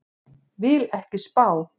Vil ekki spá.